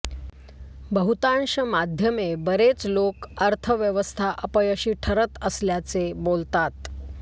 बहुतांश माध्यमे बरेच लोक अर्थव्यवस्था अपयशी ठरत असल्याचे बोलतात